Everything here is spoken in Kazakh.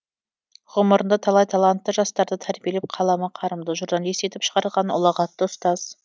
ғұмырында талай талантты жастарды тәрбиелеп қаламы қарымды журналист етіп шығарған ұлағатты ұстаз